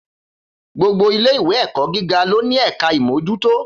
Gbogbo ìlé ìwé ẹkọ gígà lónì ẹkà ìmójútò.